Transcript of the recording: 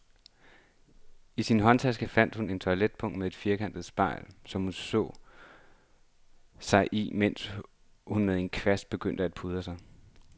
I sin håndtaske fandt hun et toiletpung med et firkantet spejl, som hun så sig i, mens hun med en kvast begyndte at pudre sig.